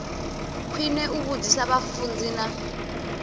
khwine u vhudzisa vhafunzi na